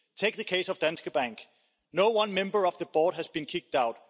Take the case of Danske Bank not one member of the board has been kicked out.